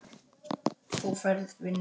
Þú færð vinnu.